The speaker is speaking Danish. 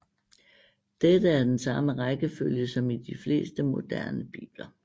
Dette er den samme rækkefølge som i de fleste moderne bibler